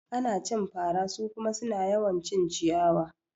Ana cin fara su kuma suna yawan cin ciyawa